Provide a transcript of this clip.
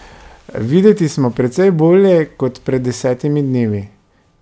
Videti smo precej bolje kot pred desetimi dnevi.